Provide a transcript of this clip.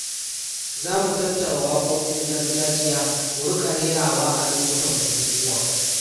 Za mu tattara waƙoƙin gargajiya mu riƙa rerawa a lokutan bukukuwa.